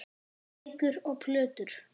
Bækur og plötur.